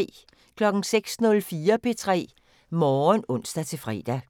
06:04: P3 Morgen (ons-fre)